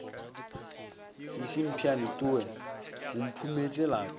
šiši mpheane towe o mphumetše